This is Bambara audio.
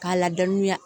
K'a ladɔnniya